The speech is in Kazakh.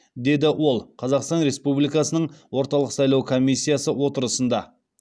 деді ол қазақстан республикасының орталық сайлау комиссиясы отырысында